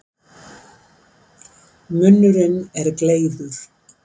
Munnurinn er gleiður.